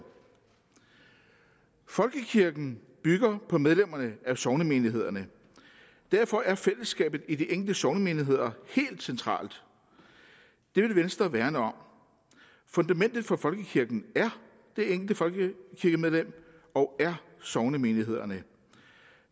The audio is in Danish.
folkekirken bygger på medlemmerne af sognemenighederne derfor er fællesskabet i de enkelte sognemenigheder helt centralt det vil venstre værne om fundamentet for folkekirken er det enkelte folkekirkemedlem og er sognemenighederne